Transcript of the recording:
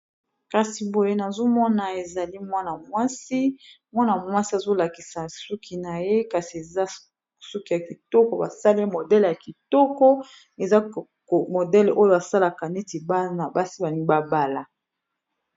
kasi boye nazo mona ezali mwana mwasi mwana mwasi azo lakisa suki na ye, kasi eza suki ya kitoko ba sali modele ya kitoko eza modele oyo a salaka neti bana basi ba lingi ba bala .